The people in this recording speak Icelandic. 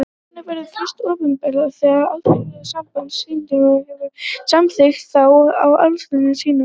Örnefnið verður fyrst opinbert þegar Alþjóðasamband stjarnfræðinga hefur samþykkt það á allsherjarþingi sínu.